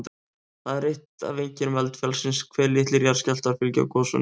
Það er eitt af einkennum eldfjallsins hve litlir jarðskjálftar fylgja gosunum.